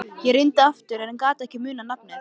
Ég reyndi aftur en ég gat ekki munað nafnið.